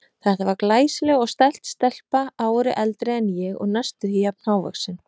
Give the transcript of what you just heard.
Þetta var glæsileg og stælt stelpa, ári eldri en ég og næstum því jafn hávaxin.